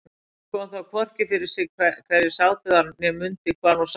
Hún kom þó hvorki fyrir sig hverjir sátu þar né mundi hvar hún sat sjálf.